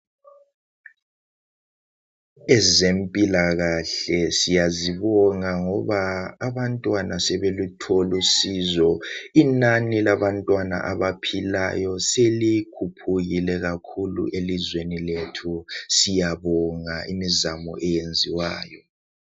Ezempilakahle siyazibonga ngoba abantwana sebethola usizo. Inani labantwana abaphilayo selikhuphukile kakhulu elizweni lethu siyabonga imizamo eyenziwayo.